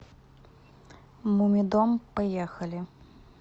мумидом поехали